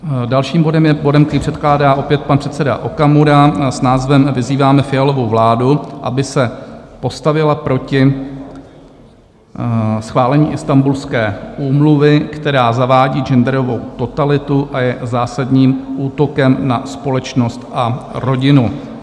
Dalším bodem je bod, který předkládá opět pan předseda Okamura s názvem Vyzýváme Fialovu vládu, aby se postavila proti schválení Istanbulské úmluvy, která zavádí genderovou totalitu a je zásadním útokem na společnost a rodinu.